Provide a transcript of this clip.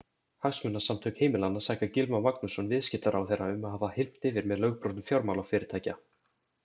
Hagsmunasamtök heimilanna saka Gylfa Magnússon, viðskiptaráðherra um að hafa hylmt yfir með lögbrotum fjármálafyrirtækja.